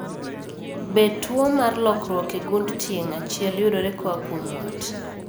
Be tuo mar lokruok e gund tieng' achiel yudore koa kuom wat?